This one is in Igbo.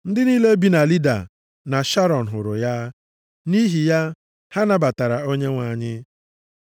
Ndị niile bi na Lida na Sharọn hụrụ ya. Nʼihi ya, ha nabatara Onyenwe anyị.